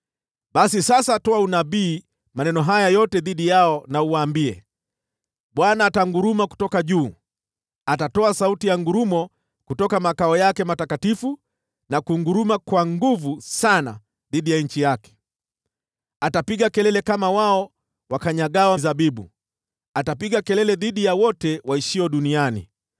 “Basi sasa toa unabii kwa maneno haya yote dhidi yao, uwaambie: “‘ Bwana atanguruma kutoka juu; atatoa sauti ya ngurumo kutoka makao yake matakatifu na kunguruma kwa nguvu sana dhidi ya nchi yake. Atapiga kelele kama wao wakanyagao zabibu, atapiga kelele dhidi ya wote waishio duniani.